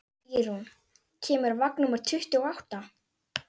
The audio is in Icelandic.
Ýrún, hvenær kemur vagn númer tuttugu og átta?